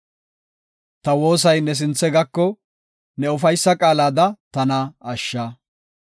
Ta woosay ne sinthe gako; ne ufaysa qaalada tana ashsha.